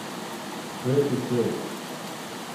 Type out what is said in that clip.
Svetu cvet.